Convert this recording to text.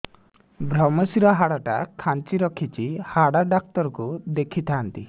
ଵ୍ରମଶିର ହାଡ଼ ଟା ଖାନ୍ଚି ରଖିଛି ହାଡ଼ ଡାକ୍ତର କୁ ଦେଖିଥାନ୍ତି